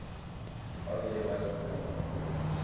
wavele wadlula ngehubo